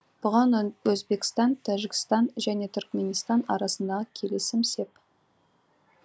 бұған өзбекстан тәжікстан және түркіменстан арасындағы келісім сеп